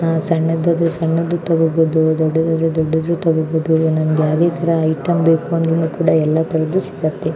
ಸಣ್ಣದು ಆದ್ರೆ ಸಣ್ಣದು ತಗೋಬಹುದು ದೊಡ್ಡದು ಆದ್ರೆ ದೊಡ್ಡದು ತಗೋಬಹುದು .